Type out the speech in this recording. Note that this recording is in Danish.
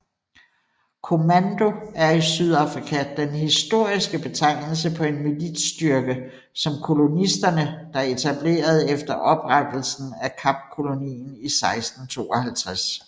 Kommando er i Sydafrika den historiske betegnelse på en militsstyrke som kolonisterne der etablerede efter oprettelsen af Kapkolonien i 1652